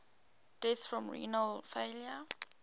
deaths from renal failure